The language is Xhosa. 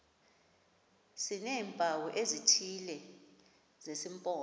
sineempawu ezithile zesimpondo